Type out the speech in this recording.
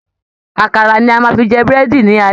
Àkàrà ni a máa fi jẹ Búrẹ́dì ní alẹ́